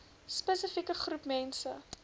spesifieke groep mense